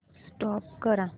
stop करा